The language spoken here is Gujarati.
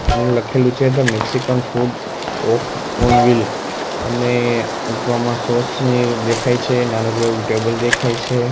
ને લખેલું છે the Mexican food of on wheel અને ગમા સોસ ની દેખાય છે નાનકડું એવુ ટેબલ દેખાય છે.